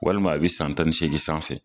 Walima i bi san tan ni segin sanfɛ